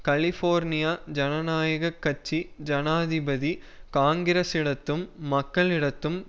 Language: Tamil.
கலிபோர்னியா ஜனநாயக கட்சி ஜனாதிபதி காங்கிரசிடத்தும் மக்களிடத்தும்